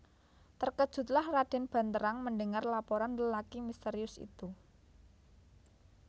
Terkejutlah Raden Banterang mendengar laporan lelaki misterius itu